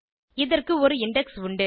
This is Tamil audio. இதற்கு ஒரு இண்டெக்ஸ் உண்டு